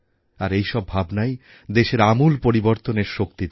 আর এই সব ভাবনাই দেশের আমূল পরিবর্তনের শক্তি ধরে